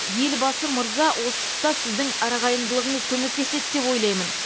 елбасы мырза осы тұста сіздің арағайындылығыңыз көмектеседі деп ойлаймын